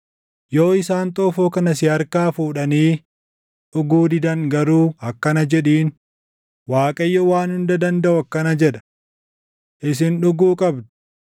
Yoo isaan xoofoo kana si harkaa fuudhanii dhuguu didan garuu akkana jedhiin; ‘ Waaqayyo Waan Hunda Dandaʼu akkana jedha: Isin dhuguu qabdu!